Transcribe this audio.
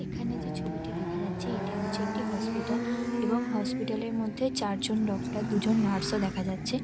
এখানে যে ছবিটি দেখা যাচ্ছে এটি হচ্ছে একটি হসপিটাল । এবং হসপিটাল -এর মধ্যে চারজন ডক্টর দুজন নার্স -ও দেখা যাচ্ছে।